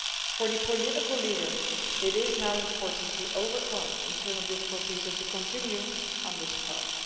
For the political leaders it is now important to overcome internal difficulties and continue on this path.